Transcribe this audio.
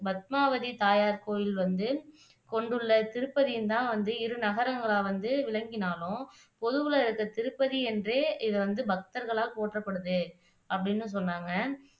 பத்மாவதி தாயார் கோயில் வந்து கொண்டுள்ள திருப்பதியும்தான் வந்து இரு நகரங்களா வந்து விளக்கினாலும் பொதுவுல இருக்கிற திருப்பதி என்றே இது வந்து பக்தர்களால் போற்றப்படுது அப்படின்னும் சொன்னாங்க